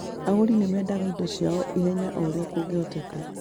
Agũri nĩ mendaga indo ciao ihenya o ũrĩa kũngĩhoteka